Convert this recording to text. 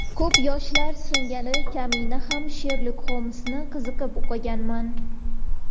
Ko‘p yoshlar singari kamina ham Sherlok Xolmsni qiziqib o‘qiganman.